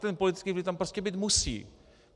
Ten politický vliv tam prostě být musí.